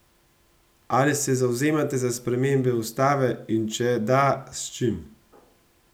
Ali se zavzemate za spremembe ustave in če da, s čim?